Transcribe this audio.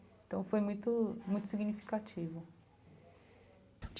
Então foi muito muito significativo.